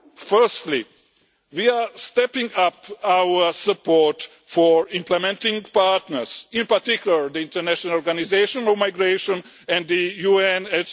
Firstly we are stepping up our support for implementing partners, in particular the International Organisation for Migration and the UNHCR.